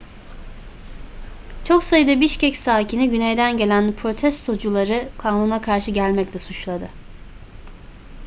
çok sayıda bişkek sakini güneyden gelen protestocuları kanuna karşı gelmekle suçladı